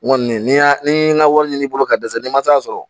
N kɔni n y'a ni n ye n ka wari ɲini bolo ka dɛsɛ n'i ma san sɔrɔ